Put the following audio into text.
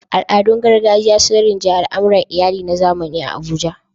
Al'adun gargajiya sun rinjayi al'amuran iyali na zamani a Abuja.